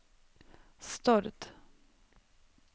Stord